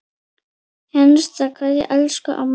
HINSTA KVEÐJA Elsku amma mín.